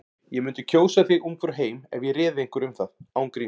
Ég mundi kjósa þig Ungfrú heim ef ég réði einhverju um það. án gríns.